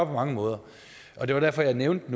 på mange måder og det var derfor jeg nævnte